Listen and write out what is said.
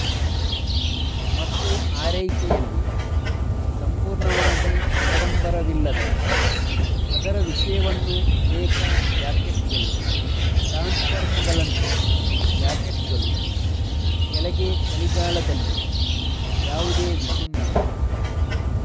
ಮತ್ತು ಆರೈಕೆಯಲ್ಲಿ ಸಂಪೂರ್ಣವಾಗಿ ಆಡಂಬರವಿಲ್ಲದ ಅದರ ವಿಷಯವನ್ನು ಅನೇಕ ಜಾಕೆಟ್ಗಳು ಟ್ರಾನ್ಸ್ಫಾರ್ಮರ್ಗಳನ್ನು ಜಾಕೆಟ್ಗಳು ಕೆಳಗೆ ಚಳಿಗಾಲದಲ್ಲಿ ಯಾವುದೇ ವಿಭಿನ್ನ